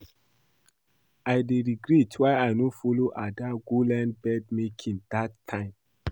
I dey regret why I no follow Ada go learn bead making dat time